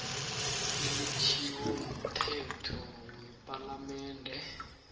elitjhiwo mthetho wepalamende